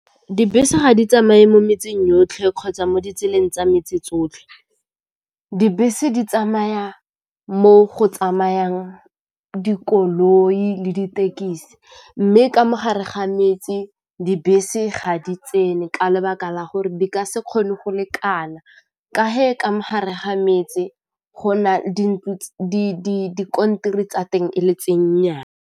Dibese ga di tsamaye mo metseng yotlhe kgotsa mo ditseleng tsa metsi tsotlhe, dibese di tsamaya mo go tsamayang dikoloi le ditekisi mme ka gare ga metsi dibese ga di tsene ka lebaka la gore di ka se kgone go lekana ka ge ka mo gare ga metsi go tsa teng e le .